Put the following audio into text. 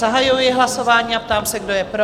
Zahajuji hlasování a ptám se, kdo je pro?